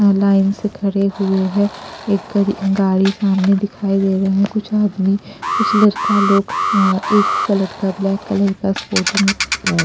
line से खड़े हुए हैं एक गा गाड़ी सामने दिखाई दे रहे हैं कुछ आदमी कुछ लड़का लोग अ अ एक ही कलर का ब्लैक कलर का स्पोर्टिंग --